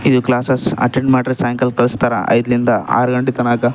ಇಲ್ಲಿ classes attend ಮಾಡ್ರೆ ಸಾಯಂಕಾಲ ಕಳಿಸ್ತಾರ ಐದ್ರಿಂದ ಆರ್ ಗಂಟೇ ತನಕ್ಕ--